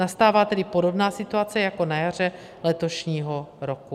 Nastává tedy podobná situace jako na jaře letošního roku.